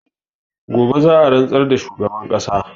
Gobe za'a rantsar da shugaban ƙasa